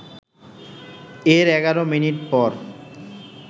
এর ১১ মিনিট পর